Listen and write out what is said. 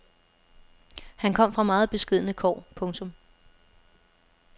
Han kom fra meget beskedne kår. punktum